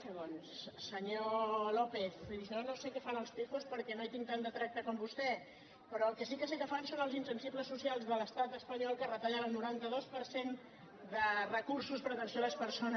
senyor lópez jo no sé què fan els pijoshi tinc tant de tracte com vostè però el que sí que sé que fan són els insensibles socials de l’estat espanyol que retallen el noranta dos per cent de recursos per a atenció a les persones